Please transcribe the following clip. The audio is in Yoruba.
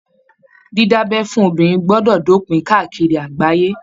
Dida'bẹ́ fún obìnrin gbọdọ dopin káàkiri àgbáyé.